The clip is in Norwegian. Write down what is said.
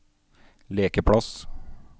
lekeplass